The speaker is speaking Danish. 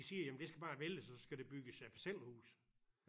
De siger jamen det skal bare væltes og så skal der bygges parcelhuse